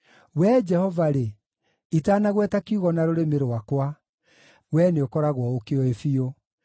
Wee Jehova-rĩ, itanagweta kiugo na rũrĩmĩ rwakwa, Wee nĩũkoragwo ũkĩũĩ biũ.